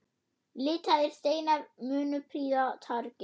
Litaðir steinar munu prýða torgið.